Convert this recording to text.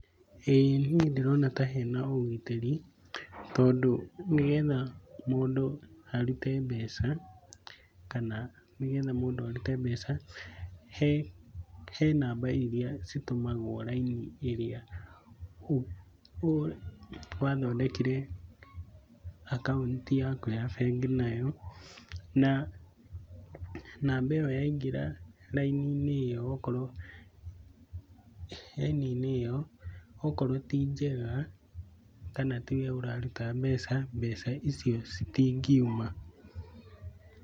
Ĩĩ niĩ ndĩrona ta hena ũgitĩri, tondũ nĩgetha mũndũ arute mbeca, kana nĩ getha mũndũ arute mbeca, he, he namba iria itũmagwo raini ĩrĩa wathondekire akaunti yaku ya bengi nayo na namba ĩyo yaingĩra rainiinĩ ĩyo ũgakorwo, raini-inĩ ĩyo, okorwo ti njega kana tiwe ũraruta mbeca, mbeca icio citingiuma.